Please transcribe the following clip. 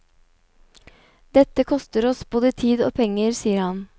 Dette koster oss både tid og penger, sier han.